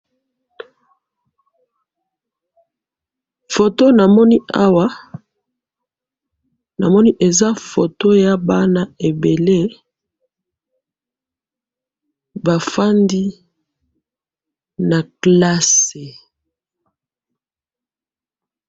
foto namoni awa namoni eza foto ya bana ebele bafandi na kelase